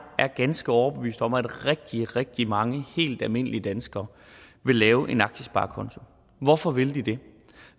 ganske overbevist om at rigtig rigtig mange helt almindelige danskere vil lave en aktiesparekonto hvorfor vil de det